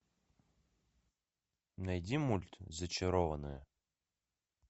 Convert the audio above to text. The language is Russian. найди мульт зачарованные